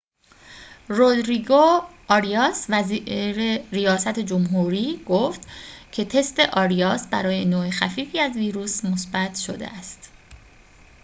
رودریگو آریاس وزیر ریاست جمهوری گفت که تست آریاس برای نوع خفیفی از ویروس مثبت شده است